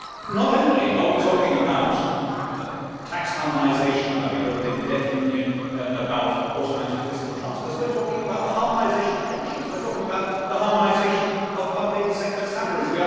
Not only are we talking about tax harmonisation, about a European debt union, about automatic fiscal transfers, but we are also talking about the harmonisation of pensions. We are talking about the harmonisation of public sector salaries.